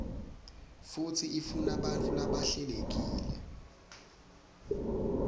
futsi ifunabantfu labahlelekile